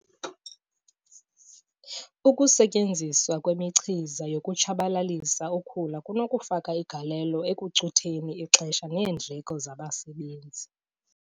Ukusetyenziswa kwemichiza yokutshabalalisa ukhula kunokufaka igalelo ekucutheni ixesha neendleko zabasebenzi.